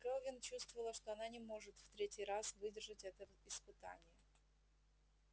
кэлвин чувствовала что она не может в третий раз выдержать это испытание